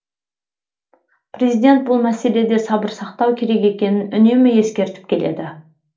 президент бұл мәселеде сабыр сақтау керек екенін үнемі ескертіп келеді